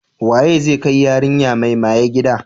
Waye zai kai yarinya mai maye gida?